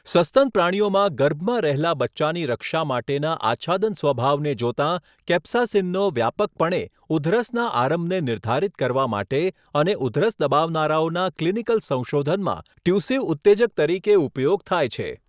સસ્તન પ્રાણીઓમાં ગર્ભમાં રહેલા બચ્ચાની રક્ષા માટેના આચ્છાદન સ્વભાવને જોતાં, કેપ્સાસીનનો વ્યાપકપણે ઉધરસના આરંભને નિર્ધારિત કરવા માટે અને ઉધરસ દબાવનારાઓના ક્લિનિકલ સંશોધનમાં ટ્યુસિવ ઉત્તેજક તરીકે ઉપયોગ થાય છે.